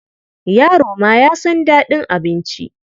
Yaro ma ya san daɗin abinci.